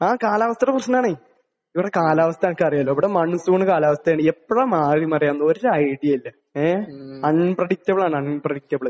ആഹ്. കാലാവസ്ഥയുടെ പ്രശ്നമാണന്നേ. ഇവിടെ കാലാവസ്ഥ നിനക്ക് അറിയാലോ. ഇവിടെ മൺസൂൺ കാലാവസ്ഥയാണ്. എപ്പോഴാണ് മാറി മറിയുകയെന്ന് ഒരു ഐഡിയയും ഇല്ല. ഏഹ്? അൺപ്രെടിക്റ്റബിൾ ആണ് അൺപ്രെടിക്റ്റബിൾ.